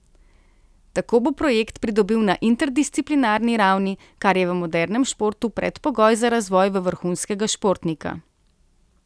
Tako bo projekt pridobil na interdisciplinarni ravni, kar je v modernem športu predpogoj za razvoj v vrhunskega športnika.